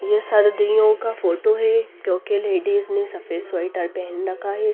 ये सर्दियों का फोटो है क्योंकि लेडीज ने सफेद स्वेटर पहन रखा है.